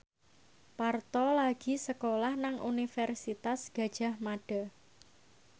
Parto lagi sekolah nang Universitas Gadjah Mada